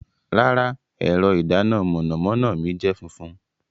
Rara, ẹrọ idana mọnamọna mi jẹ funfun